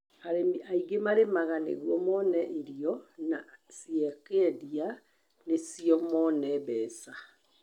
Arĩmi aingĩ marĩmaga nĩguo mone irio na ciakendia nĩcio mone mbeca.